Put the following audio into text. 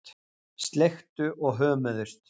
Sleiktu og hömuðust.